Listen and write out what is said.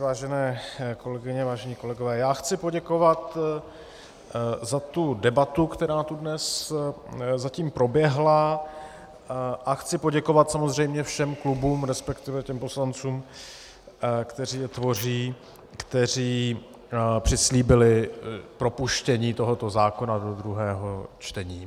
Vážené kolegyně, vážení kolegové, já chci poděkovat za tu debatu, která tu dnes zatím proběhla, a chci poděkovat samozřejmě všem klubům, respektive těm poslancům, kteří je tvoří, kteří přislíbili propuštění tohoto zákona do druhého čtení.